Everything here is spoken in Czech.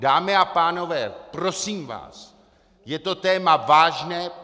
Dámy a pánové, prosím vás, je to téma vážné.